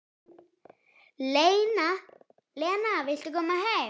Lena vill koma heim.